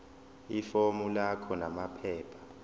ifomu lakho namaphepha